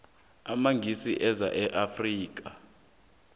amangisi eza e afrika